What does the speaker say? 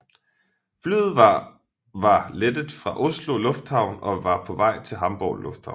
Flyet var var lettet fra Oslo Lufthavn og var på vej til Hamburg Lufthavn